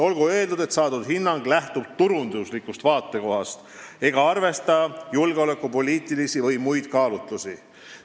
Olgu öeldud, et saadud hinnang lähtub turunduslikust vaatekohast ega arvesta julgeolekupoliitilisi või muid kaalutlusi.